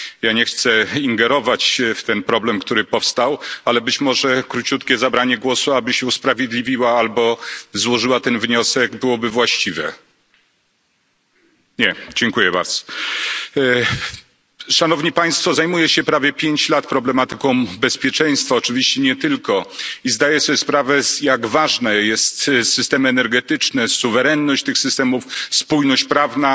Nie chcę ingerować w ten problem, który powstał, ale być może króciutkie zabranie głosu, aby się usprawiedliwiła albo złożyła ten wniosek byłoby właściwe. Nie. Zajmuję się prawie 5 lat problematyką bezpieczeństwa, oczywiście nie tylko, i zdaje sobie sprawę, jak ważne są systemy energetyczne, suwerenność tych systemów, spójność prawna